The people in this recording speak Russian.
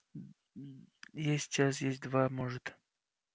есть час есть два может